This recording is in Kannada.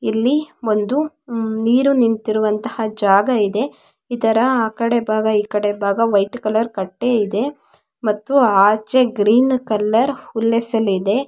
ಇಲ್ಲಿ ಒಂದು ನೀರು ನಿಂತಿರುವಂತ ಜಾಗ ಇದೆ ಇದರ ಆಕಡೆ ಭಾಗ ಈಕಡೆ ಭಾಗ ವೈಟ್ ಕಲರ್ ಕಟ್ಟೆ ಇದೆ ಮತ್ತು ಆಚೆ ಗ್ರೀನ್ ಕಲರ್ ಹುಲ್ಲೇಸಲ್ ಇದೆ.